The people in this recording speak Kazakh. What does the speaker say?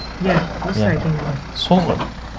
иә осы айтайын дегенім сол ғой